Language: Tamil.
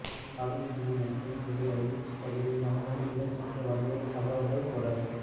அளுத்கம மற்றும் பேருவளைப் பகுதிகளில் அண்மையில் இடம்பெற்ற வன்முறைச் சம்பவங்கள் தொடர்